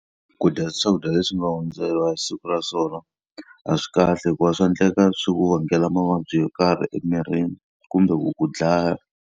Ku dya swakudya leswi nga hundzeriwa hi siku ra swona a swi kahle hikuva swa endleka swi ku vangela mavabyi yo karhi emirini kumbe ku ku dlaya.